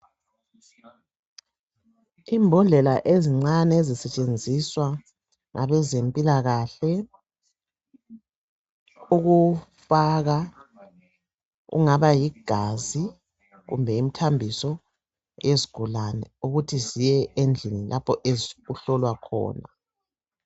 Imbodlela ezincane ezisetshenziswa ngabezempilakahle ukufaka ingaba ligazi kumbe imthambiso yezigulane ukuthi ziye endlini lapho ezihlolwa khona.